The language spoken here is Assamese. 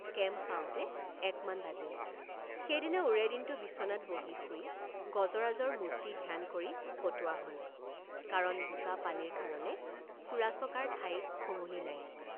কেম্প পাওঁতে একমান বাজিল। কেম্প পাওঁতে একমান বাজিল। সেইদিনা ওৰে দিনটো বিচনাত বহি শুই গজৰাজৰ মূৰ্তি ধ্যান কৰি কটোৱা হল কাৰণ বোকাপানীৰ কাৰণে ফুৰাচকাৰ ঠাই সমূলি নাই।